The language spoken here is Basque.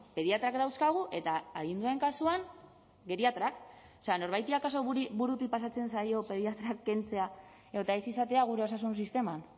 pediatrak dauzkagu eta adindunen kasuan geriatrak o sea norbaiti akaso burutik pasatzen zaio pediatrak kentzea edota ez izatea gure osasun sisteman